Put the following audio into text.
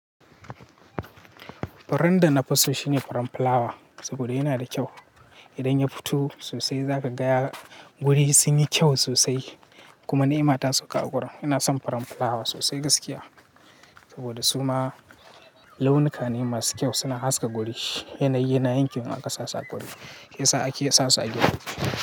Furen da na fi so shine furen fulawa, saboda yana da kyau. Idan ya fito sosai za ka ga guri sunyi kyau sosai, kuma ni'ima tasauka a gurin. Ina son furen fulawa sosai gaskiya saboda suma launuka ne masu kyau suna haska guri. Yanayi na yankin aka sassa a guri, shiyasa ake sasu a gida.